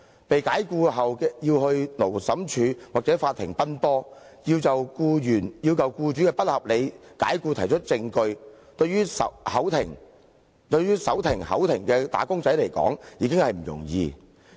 被解僱後，僱員要到勞審處或法庭奔波，要就僱主的不合理解僱提出證據，對於手停口停的"打工仔"來說，已經不容易。